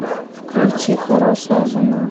включи хорошая жена